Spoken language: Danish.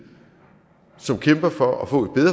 som kæmper for at få et